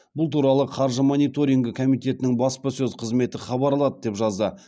бұл туралы қаржы мониторингі комитетінің баспасөз қызметі хабарлады деп жазды